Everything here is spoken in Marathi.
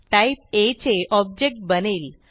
टाईप आ चे ऑब्जेक्ट बनेल